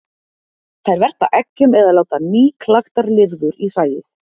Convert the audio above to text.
Þær verpa eggjum eða láta nýklaktar lirfur í hræið.